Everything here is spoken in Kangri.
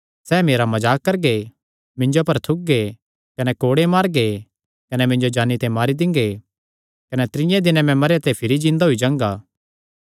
सैह़ मेरा मजाक करगे मिन्जो पर थुकगे कने कोड़े मारगे कने मिन्जो जान्नी ते मारी दिंगे कने त्रीये दिनैं मैं भिरी जिन्दा होई जांगा